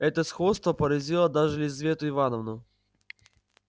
это сходство поразило даже лизавету ивановну